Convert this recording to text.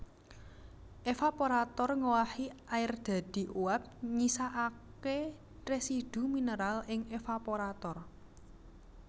Evaporator ngowahi air dadi uap nyisakake residu mineral ing evaporator